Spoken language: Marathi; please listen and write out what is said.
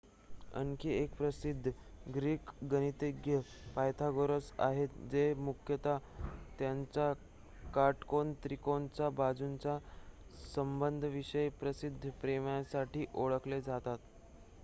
आणखी एक प्रसिद्ध ग्रीक गणितज्ञ पायथागोरस आहेत जे मुख्यतः त्यांच्या काटकोन त्रिकोणाच्या बाजूंच्या संबंधांविषयीच्या प्रसिद्ध प्रमेयासाठी ओळखले जातात